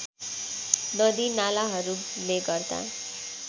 नदी नालाहरूले गर्दा